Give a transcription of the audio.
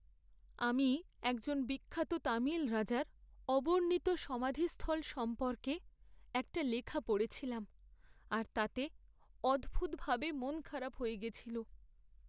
আমি একজন বিখ্যাত তামিল রাজার অবর্ণিত সমাধিস্থল সম্পর্কে একটা লেখা পড়েছিলাম আর তাতে অদ্ভুতভাবে মনখারাপ হয়ে গেছিল!